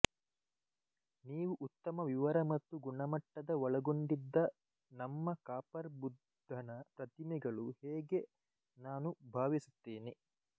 ನೀವು ಉತ್ತಮ ವಿವರ ಮತ್ತು ಗುಣಮಟ್ಟದ ಒಳಗೊಂಡಿದ್ದ ನಮ್ಮ ಕಾಪರ್ ಬುದ್ಧನ ಪ್ರತಿಮೆಗಳು ಹೇಗೆ ನಾನು ಭಾವಿಸುತ್ತೇನೆ